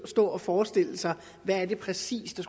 stå og forestille sig hvad det præcis er